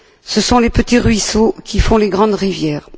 Ce sont les petits ruisseaux qui font les grandes rivières.